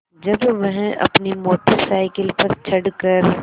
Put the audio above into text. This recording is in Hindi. जब वह अपनी मोटर साइकिल पर चढ़ कर